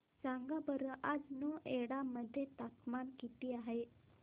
सांगा बरं आज नोएडा मध्ये तापमान किती आहे